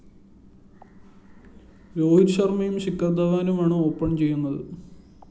രോഹിത് ശര്‍മയും ശിഖര്‍ ധവാനുമാണ് ഓപ്പൻ ചെയ്യുന്നത്